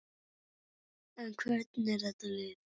En hvernig er þetta lið?